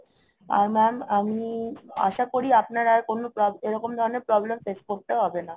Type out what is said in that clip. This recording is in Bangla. আর Mam আমি আশা করি আপনার আর কোনো problem, এরকম ধরণের problem face করতে হবে না